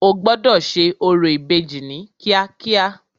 O gbọ́dọ̀ ṣe orò ìbejì ní kíákíá.